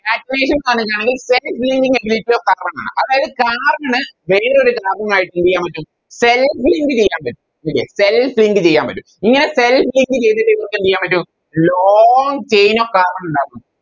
Catenation ന്ന് പറഞ്ഞാല് Self linking ability of carbon ആണ് അതായത് Carbon വേറൊരു Carbon ആയിട്ട് എന്തെയ്യൻ പറ്റും Selg link ചെയ്യാൻ പറ്റും Okay self link ചെയ്യാൻ പറ്റും ഇങ്ങനെ Self link ചെയ്തിട്ട് ഇവർക്കെന്തെയ്യാൻ പറ്റും Long chain of carbon ഉണ്ടാക്കും